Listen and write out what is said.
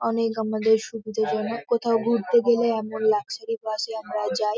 অনেক আমাদের সুবিধার জন্য কোথাও ঘুরতে গেলে আমরা লাক্সারি বাস -এ আমরা যাই ।